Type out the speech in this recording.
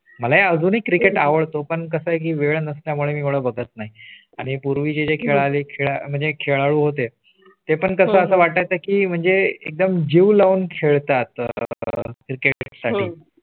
मला अजूनही Cricket आवडतो पण कसं आहे की वेळ नसल्या मुळे बघत नाही. आणि पूर्वी चे खेळ होते ते पण कसं वाटतं की म्हणजे एकदम जीव लावून खेळतात. Cricket साठी